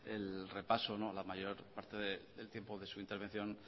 el repaso la mayor parte del tiempo de su intervención